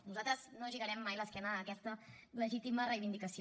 nosaltres no girarem mai l’esquena a aquesta legítima reivindicació